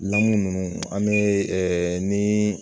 Lamu ninnu an be ɛ ni